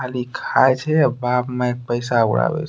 खाली खाए छे बाप-माय क पैसा उड़ावे --